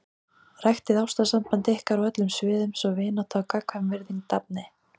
Ræktið ástarsamband ykkar á öllum sviðum svo vinátta og gagnkvæm virðing dafni.